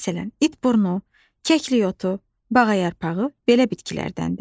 Məsələn, itburnu, kəklikotu, bağayarpağı belə bitkilərdəndir.